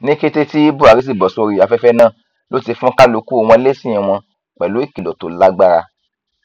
ní kété tí buhari sì bọ sórí afẹfẹ náà ló ti fún kálukú wọn lésì wọn pẹlú ìkìlọ tó lágbára